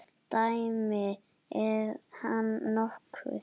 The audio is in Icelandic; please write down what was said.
Dæmi: Er hann nokkuð?